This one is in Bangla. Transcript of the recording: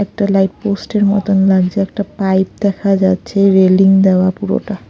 একটা লাইট পোস্ট -এর মতন লাগছে একটা পাইপ দেখা যাচ্ছে রেলিং দেওয়া পুরোটা।